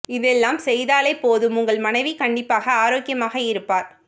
இதெல்லாம் செய்தாலே போதும் உங்கள் மனைவி கண்டிப்பாக ஆரோக்கியமாக இருப்பார்